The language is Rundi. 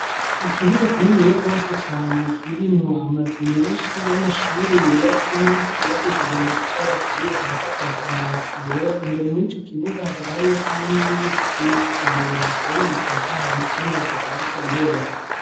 Ikibuga kininiya gose cane kirimwo amazu menshi y'amashuri yubatsemwo yubakishije amatafari aturiye akabasakaje amabati yera, imbere mw'ico kibuga hakaba hariyo kandi n'ibiti vyinshi cane bihateye bitotahaye vy'amavuka bariko birera.